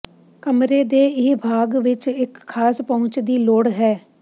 ਕਮਰੇ ਦੇ ਇਹ ਭਾਗ ਵਿੱਚ ਇੱਕ ਖਾਸ ਪਹੁੰਚ ਦੀ ਲੋੜ ਹੈ